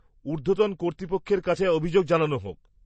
ঊর্ধ্বতন কর্তৃপক্ষের কাছে অভিযোগ জানানো হোক।